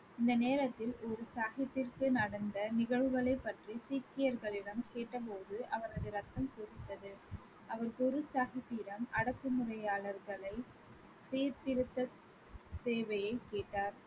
இந்த நேரத்தில் குரு சாஹிப்பிற்கு நடந்த நிகழ்வுகளைப் பற்றி சீக்கியர்களிடம் கேட்டபோது அவரது ரத்தம் கொதித்தது. அவர் குரு சாஹிப்பிடம் அடக்கு முறையாளர்களை சீர்திருத்த சேவையை கேட்டார்